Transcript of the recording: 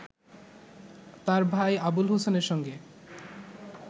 তার ভাই আবুল হোসেনের সঙ্গে